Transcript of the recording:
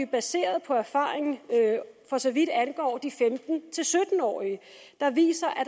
baseret på erfaringer for så vidt angår de femten til sytten årige der viser at